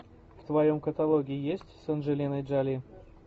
в твоем каталоге есть с анджелиной джоли